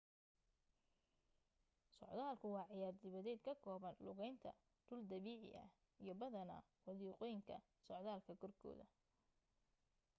socdaalkku waa ciyaar dibadeed ka kooban lugaynta dhul dabiici ah iyo badanaa wadiiqooyinka socdaalka korkooda